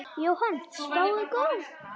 Jóhann: Spáin góð?